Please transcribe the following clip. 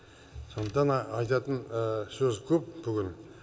сондықтан айтатын сөз көп бүгін